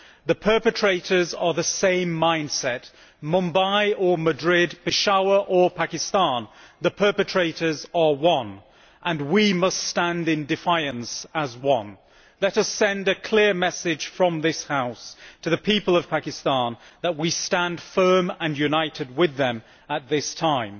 The perpetrators are of the same mind set Mumbai or Madrid or Peshawar, Pakistan, the perpetrators are one, and we must stand in defiance as one. Let us send a clear message from this House to the people of Pakistan that we stand firm and united with them at this time.